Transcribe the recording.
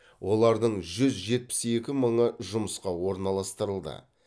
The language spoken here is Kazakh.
олардың жүз жетпіс екі мыңы жұмысқа орналастырылды